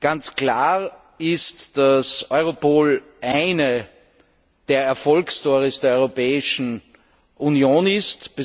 Ganz klar ist, dass Europol eine der Erfolgsstorys der Europäischen Union ist.